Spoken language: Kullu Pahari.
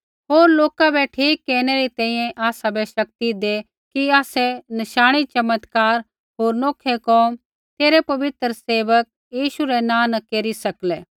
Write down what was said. होर लोका बै ठीक केरनै री तैंईंयैं आसाबै शक्ति दै कि आसै नशाणी चमत्कार होर नौखै कोम तेरै पवित्र सेवक यीशु रै नाँ न केरी सकलै